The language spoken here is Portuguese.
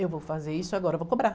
Eu vou fazer isso agora, vou cobrar.